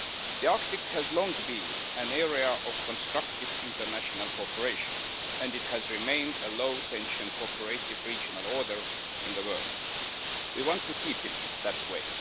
The Arctic has long been an area of constructive international cooperation and it has remained a low tension cooperative regional order in the world. We want to keep it that way.